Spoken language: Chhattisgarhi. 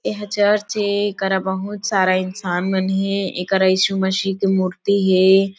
एहा चर्च ए एकरा बहुत सारा इंसान मन हे एकरा इशू मसीह के मूर्ति हे।